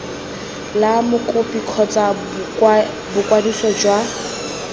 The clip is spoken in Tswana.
la mokopi kgotsa boikwadiso jwa